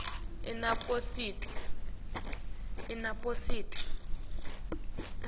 inaspoti